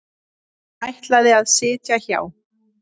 Hún ætlaði að sitja hjá.